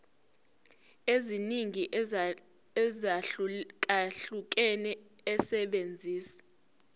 eziningi ezahlukahlukene esebenzisa